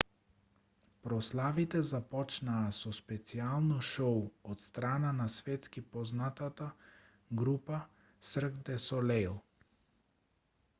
прославите започнаа со специјално шоу од страна на светски познатата група сирк де солеиј